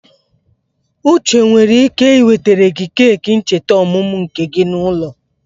Uche nwere ike ị wetere gị keki ncheta ọmụmụ nke gị n'ụlọ.